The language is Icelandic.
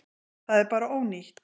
Það er bara ónýtt.